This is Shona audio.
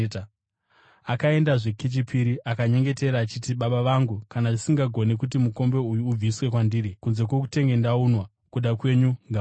Akaendazve kechipiri akanyengetera achiti, “Baba vangu, kana zvisingagoni kuti mukombe uyu ubviswe kwandiri kunze kwokutenge ndaunwa, kuda kwenyu ngakuitwe.”